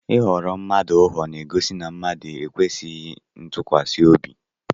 Ị ghara mmadụ ụgha na-egosi na mmadụ ekwesịghị ntụkwasị obi.